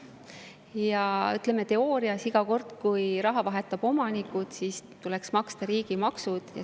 Ja teoorias on nii, et iga kord, kui raha vahetab omanikku, tuleks maksta riigimaksud.